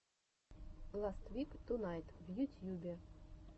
ласт вик тунайт в ютьюбе